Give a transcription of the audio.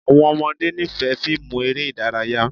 Àwọn ọmọde nifẹ fiimu ere idaraya